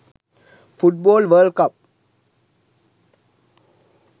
football world cup